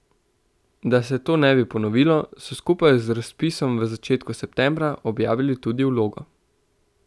Da se to ne bi ponovilo, so skupaj z razpisom v začetku septembra objavili tudi vlogo.